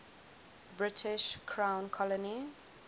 british crown colony